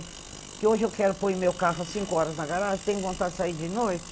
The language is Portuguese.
Porque hoje eu quero pôr o meu carro há cinco horas na garagem, tenho vontade de sair de noite.